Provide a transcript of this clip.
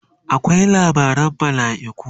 akwai labaran malaiku